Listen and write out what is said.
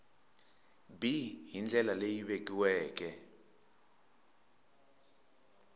b hi ndlela leyi vekiweke